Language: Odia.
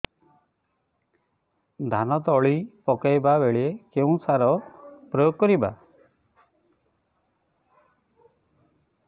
ଧାନ ତଳି ପକାଇବା ବେଳେ କେଉଁ ସାର ପ୍ରୟୋଗ କରିବା